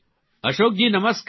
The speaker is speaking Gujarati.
અશોકજી નમસ્કાર